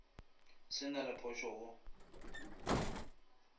se na le phošo go